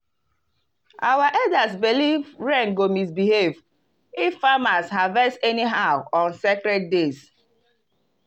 our elders believe rain go misbehave if farmers harvest anyhow on sacred dates.